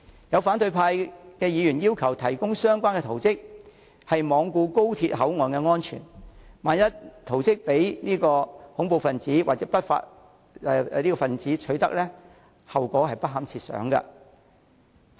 有反對派議員要求提供相關圖則，是罔顧高鐵口岸安全，萬一圖則被恐怖分子或不法分子取得，後果不堪設想。